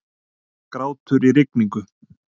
Grátur í rigningu.